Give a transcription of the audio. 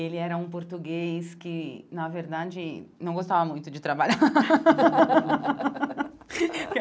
Ele era um português que, na verdade, não gostava muito de trabalhar.